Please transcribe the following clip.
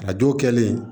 A dɔw kɛlen